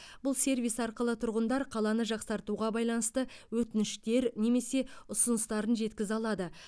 бұл сервис арқылы тұрғындар қаланы жақсартуға байланысты өтініштер немесе ұсыныстарын жеткізе алады